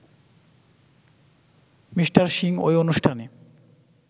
Mr Singh ওই অনুষ্ঠানে